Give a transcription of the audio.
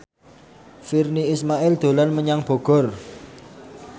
Virnie Ismail dolan menyang Bogor